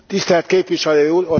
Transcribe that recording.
Tisztelt Képviselő Úr!